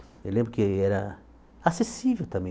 Eu lembro que era acessível também.